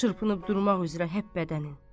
Çırpınıb durmaq üzrə hər bədənin.